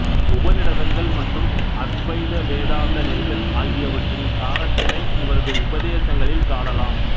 உபநிடதங்கள் மற்றும் அத்வைத வேதாந்த நெறிகள் ஆகியவற்றின் சாரத்தினை இவரது உபதேசங்களில் காணலாம்